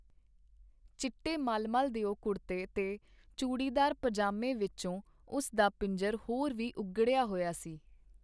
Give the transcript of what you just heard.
ਚਿੱਟੇ ਮਲਮਲ ਦਿਓ ਕੁੜਤੇ ਤੇ ਚੂੜੀਦਾਰ ਪਜਾਮੇ ਵਿਚੋਂ ਉਸ ਦਾ ਪਿੰਜਰ ਹੋਰ ਵੀ ਉਘੜਿਆ ਹੋਇਆ ਸੀ.